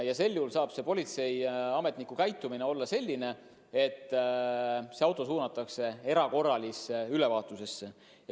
Ja sel juhul saab politseiametnik auto suunata erakorralisele ülevaatusele.